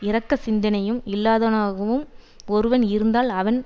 இரக்க சிந்தையும் இல்லாதவனாகவும் ஒருவன் இருந்தால் அவன்